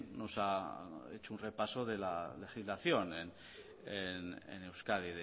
nos ha hecho un repaso de la legislación en euskadi